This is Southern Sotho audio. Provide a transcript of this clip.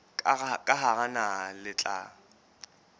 ka hara naha le tla